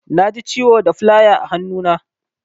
Naji ciwo da filaya a hannu na.